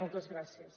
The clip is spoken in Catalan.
moltes gràcies